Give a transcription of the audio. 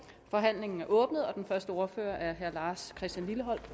forhandlingen er åbnet den første ordfører er herre lars christian lilleholt